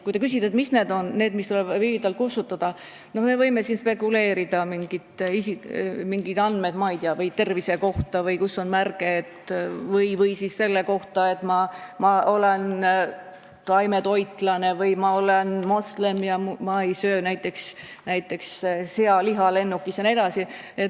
Kui te küsite, mis need andmed on, mis tuleb viivitamata kustutada, siis me võime siin spekuleerida, et need on mingid andmed, ma ei tea, kus on märge tervise kohta või selle kohta, kes on taimetoitlane või moslem ega söö lennukis näiteks sealiha jne.